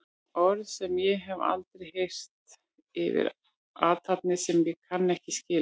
Orð sem ég hef aldrei heyrt yfir athafnir sem ég kann ekki skil á.